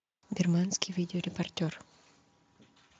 бирманский видеорепортер